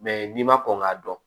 n'i ma kɔn k'a dɔn